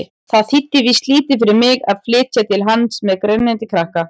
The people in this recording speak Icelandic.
Það þýddi víst lítið fyrir mig að flytja til hans-með grenjandi krakka!